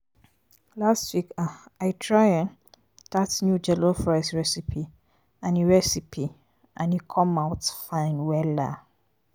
last week um i try um dat new jollof rice recipe and e recipe and e come out fine. um